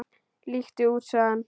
Líttu út sagði hann.